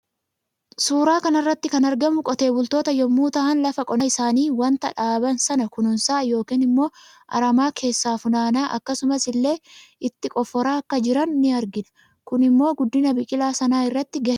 Suuraa kanarratti kan argamu qotee bultoota yommuu ta'an lafa qonnaa isaani waanta dhaaban sana kuuunsaa yookaan immo aramaa kessaa funaanaa akkasumas illee itti qofora Akka jiran ni argina Kun immo guddina biqila sana irratti gahe guddaa tabata